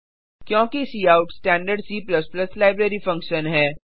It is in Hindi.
क्योंकि cout standard C library function है